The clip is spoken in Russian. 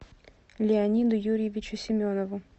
леониду юрьевичу семенову